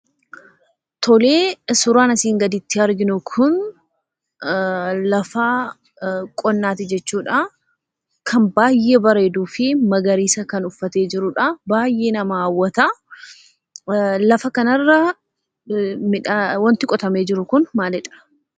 Tole suuraan asiin gaditti arginu kun lafa qonnaati jechuudhaa. Kan baay'ee bareeduu fi magariisa kan uffatee jirudha; baay'ee nama hawwata. Lafa kanarra wanti qotamee jiru kun maalidha?